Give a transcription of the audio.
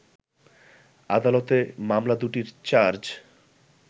আদালতে মামলা দুটির চার্জ